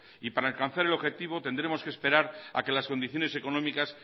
y para alcanzar el objetivo tendremos que esperar a que las condiciones económicas